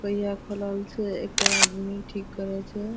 पहिया खोलल छै एकटा आदमी ठीक करे छै ।